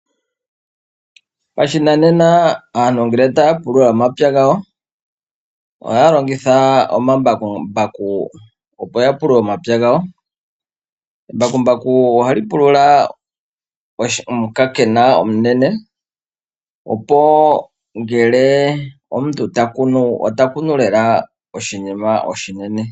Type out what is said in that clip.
Pashinanena aantu ngele ta ya pulula omapya gawo, ohaya longitha omambakumbaku opo ya pulule omapya gawo. Embakumbaku oha li pulula omukakena omunene opo ngele omuntu ta kunu , ota kunu lela oshinima oshinene.